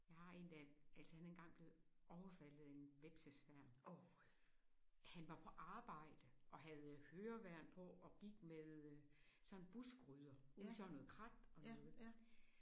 Jeg har en der altså han er engang blevet overfaldet af en hvepsesværm. Han var på arbejde og havde høreværn på og gik med sådan en buskrydder ude i sådan noget krat og noget